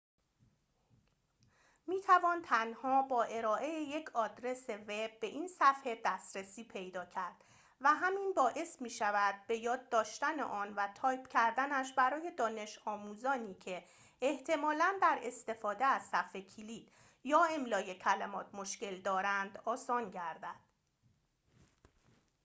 می‌توان تنها با ارائه یک آدرس وب به این صفحه دسترسی پیدا کرد و همین باعث می‌شود به‌یاد داشتن آن و تایپ کردنش برای دانش‌آموزانی که احتمالاً در استفاده از صفحه‌کلید یا املای کلمات مشکل دارند آسان گردد